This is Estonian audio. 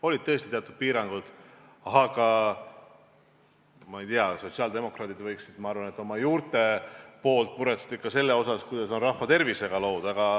Olid tõesti teatud piirangud, aga ma ei tea, sotsiaaldemokraadid võiksid, ma arvan, oma juurte tõttu muretseda ikka selle pärast, kuidas on lood rahva tervisega.